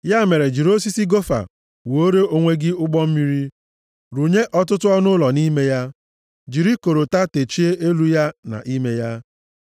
Ya mere, jiri osisi gofa wuore onwe gị ụgbọ mmiri. Rụnye ọtụtụ ọnụụlọ nʼime ya. Jiri korota techie elu ya na ime ya.